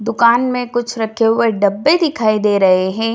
दुकान में कुछ रखे हुए डब्बे दिखाई दे रहें हैं।